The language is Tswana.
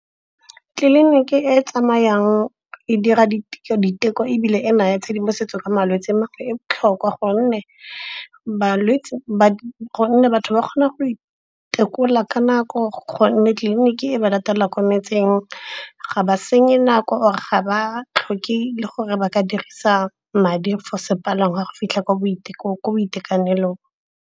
Tleliniki e tsamayang e dira diteko ebile e naya tshedimosetso ka malwetse e botlhokwa gonne batho ba kgona go itekola ka nako. Gonne tleliniki e ba latela kwa metseng, ga ba senye nako or ga ba tlhoke le gore ba ka dirisa madi for sepalangwa go fitlha kwa boitekanelong.